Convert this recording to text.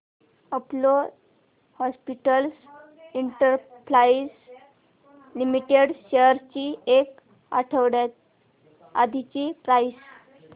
Apollo Hospitals Enterprise Limited shares ची एक आठवड्या आधीची प्राइस